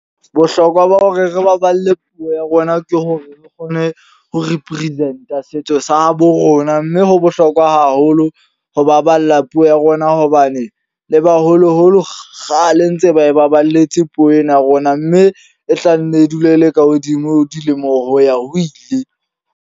Bohlokwa ba hore re baballe puo ya rona ke hore re kgone ho represent a setso sa habo rona. Mme ho bohlokwa haholo ho baballa puo ya rona. Hobane le baholo-holo kgale ntse ba e baballetse puo ena ya rona. Mme e tlanne e dule e le ka hodimo ho dilemo ho ya ho ile.